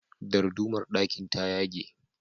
Dardumar ɗakin ta yage.